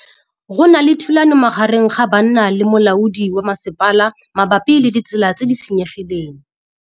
Go na le thulanô magareng ga banna le molaodi wa masepala mabapi le ditsela tse di senyegileng.